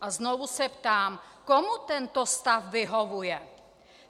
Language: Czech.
A znovu se ptám: komu tento stav vyhovuje?